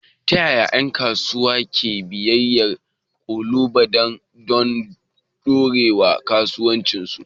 Ta yaya ƴan kasuwa ke bibiyar ƙalubalan don ɗorewar kasuwancinsu?